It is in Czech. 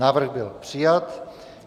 Návrh byl přijat.